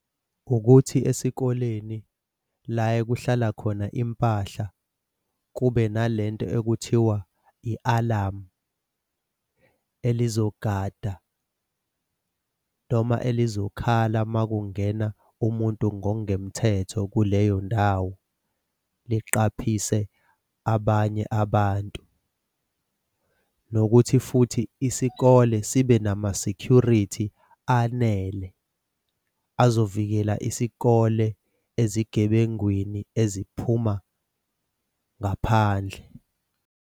Ukuthi esikoleni la ekuhlala khona impahla kube nalento ekuthiwa i-alamu elizogada noma elizokhala makungena umuntu ngokungemthetho kuleyo ndawo. Liqaphise abanye abantu. Nokuthi futhi isikole sibe nama-security anele uzovikela isikole ezigebengwini eziphuma ngaphandle.